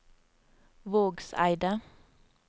Vågseidet